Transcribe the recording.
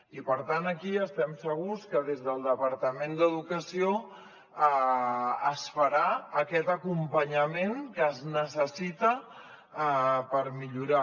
i per tant aquí estem segurs que des del departament d’educació es farà aquest acompanyament que es necessita per millorar